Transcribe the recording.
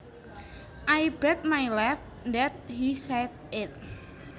I bet my life that he said it